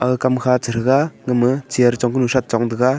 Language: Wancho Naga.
aga Kam kha chataga gama chair chong taga.